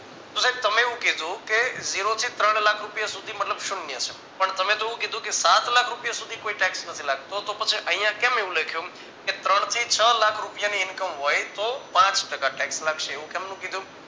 તો સાહેબ તમે એવું કીધું કે ઝીરો થી ત્રણ લાખ રૂપિયા સુધી મતલબ શૂન્ય છે પણ તમે તો એવું કીધું કે સાત લાખ રૂપિયા સુધી કોઈ tax નથી લાગતો તો પછી અહીંયા કેમ એવું લખ્યું કે ત્રણ થી છ લાખ રૂપિયાની income હોય તો પાંચ ટકા tax લાગશે એવું કેમ નું કીધું